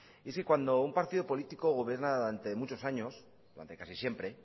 y si cuando un partido político gobierna durante muchos años durante casi siempre